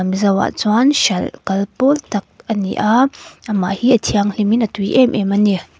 mizo ah chuan hralh kal pawl tak ani a amah hi a thianghlim in a tui em em ani.